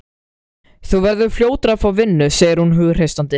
Þú verður fljótur að fá vinnu, segir hún hughreystandi.